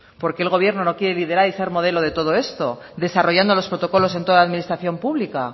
por qué el gobierno no quiere ser modelo de todo esto desarrollando los protocolos en toda la armonización pública